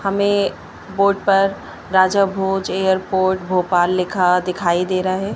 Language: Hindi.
हमें बोर्ड पर राजा भोज एयरपोर्ट भोपाल लिखा दिखाई दे रहा है।